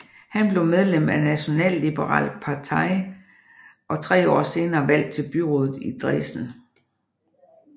Han blev medlem af Nationalliberale Partei og tre år senere valgt til byrådet i Dresden